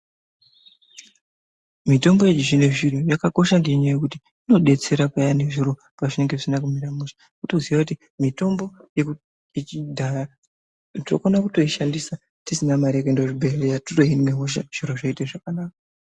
Mitombo yechizvino zvino yakakosha ngekuti inodetsera payani zviro pazvinenge zvisina kumira mushe. Wotoziya kuti mitombo yechidhaya tinokona kutoishandisa tisina mari yekuenda kuchibehleya titori nehosha zviro zvotoita zvakanaka.